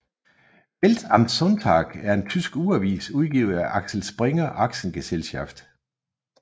Welt am Sonntag er en tysk ugeavis udgivet af Axel Springer AG